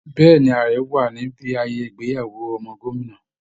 Bẹ́ẹ̀ ni, ààrẹ wà níbi ayẹayẹ ìgbéyàwó ọmọ gómìnà